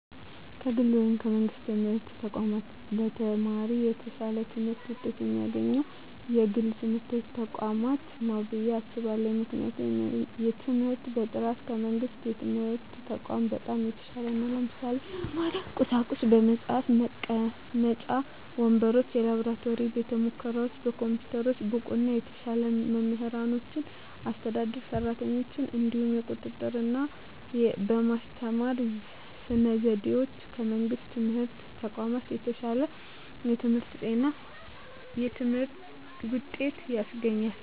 ከግል ወይም ከመንግሥት የትምህርት ተቋማት ለተማሪ የተሻለ ትምህርት ውጤት የሚያስገኘው የግል ትምህርት ተቋማት ነው ብየ አስባለሁ ምክንያቱም የትምህርት በጥራቱ ከመንግስት የትምህርት ተቋማት በጣም የተሻለ ነው ለምሳሌ - በመማሪያ ቁሳቁሶች በመፅሀፍ፣ መቀመጫ ወንበሮች፣ የላብራቶሪ ቤተሙከራዎች፣ ኮምፒውተሮች፣ ብቁና የተሻሉ መምህራኖችና አስተዳደር ሰራተኞች፣ እንዲሁም የቁጥጥ ርና በማስተማር ስነ ዘዴዎች ከመንግስት የትምህርት ተቋማት የተሻለ የትምህርት ውጤት ያስገኛል።